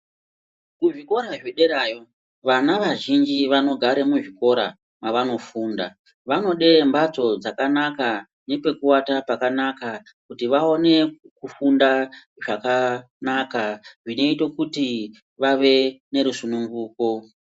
Kuzvikora zvederayo vana vazhinji vanogare muzvikora mwavanofunda. Vanode mbatso dzakanaka nepekuata pakanaka kuti vaone kufunda zvakanaka zvinoite kuti vave nerusununguko.